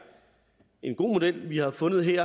en god model vi har fundet her